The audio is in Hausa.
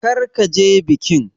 Kar ka je bikin!